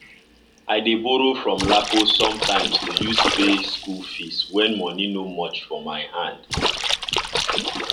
i dey borow from lapo sometimes to use pay school fees when money no much for my hand